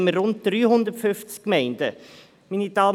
Wir haben rund 350 Gemeinden.